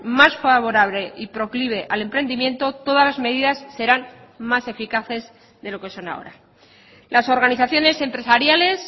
más favorable y proclive al emprendimiento todas las medidas serán más eficaces de lo que son ahora las organizaciones empresariales